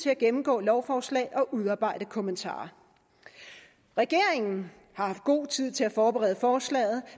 at gennemgå lovforslag og udarbejde kommentarer regeringen har haft god tid til at forberede forslaget